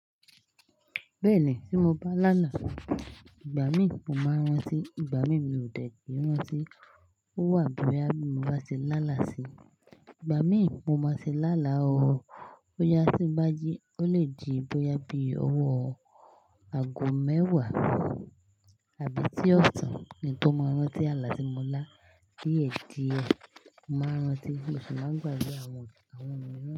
Bẹ́ẹ̀ni, tí mo bá láàlá, ìgbà mí mo máa rántí, ìgbà mi mi ò dẹni rántí. Ó wà bí boya bi mo bá ṣe láàlá sí. Ìgbà mí mo máa ti láàlá, bóyá tí ń bá jí, ó lè di bóyá bí ọwọ́ ago mẹ́wàá, àbí tí ọ̀sán ni tó máa rántí, àlà tí mo lá diè di ẹ mo máa rántí, mo sì máa gbàgbé àwọn, àwọn imin.